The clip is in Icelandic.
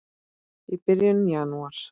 í byrjun janúar.